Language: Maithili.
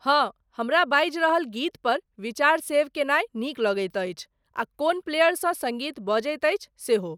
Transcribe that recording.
हं, हुमरा बाजि रहल गीत पर विचार सेव केनाय नीक लगैत अछि आ कोन प्लेयर सँ सङ्गीत बजैत अछि सेहो।